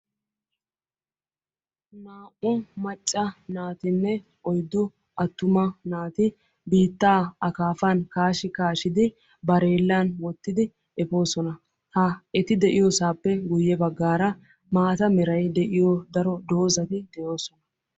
Naa"u macca naatinne oyddu attuma naati biittaa aakafafan kaashsh kaashshidi barellan wottidi efoosona ha eti efiyoosappe guyye baggara maata meray de'iyo doozati de'oosona.